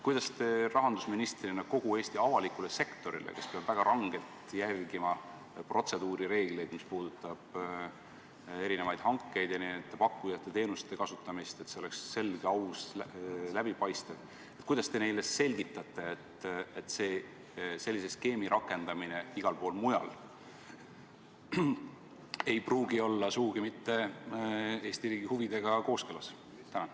Kuidas te rahandusministrina kogu Eesti avalikule sektorile, kes peab väga rangelt järgima protseduurireegleid – mis puudutavad erinevaid hankeid ja pakkujate teenuste kasutamist, et kõik oleks selge, aus ja läbipaistev –, selgitate, et sellise skeemi rakendamine igal pool mujal ei pruugi sugugi olla Eesti riigi huvidega kooskõlas?